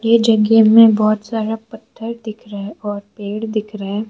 Game में बहुत सारा पत्थर दिख रहा है और पेड़ दिख रहा है।